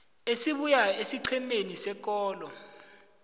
esibuya esiqhemeni sekolo